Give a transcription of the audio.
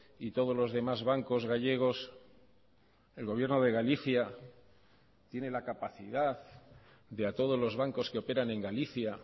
y todos los demás bancos gallegos el gobierno de galicia tiene la capacidad de a todos los bancos que operan en galicia